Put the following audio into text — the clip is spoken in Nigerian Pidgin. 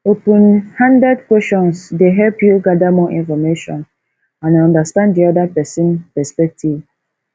open-handed questions dey help you gather more information and understand di oda pesins perspective